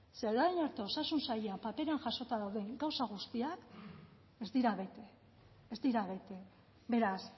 ze orain arte osasun saila paperan jasota dauden gauza guztiak ez dira bete ez dira bete beraz